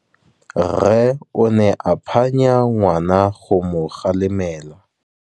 Rre o ne a phanya ngwana go mo galemela.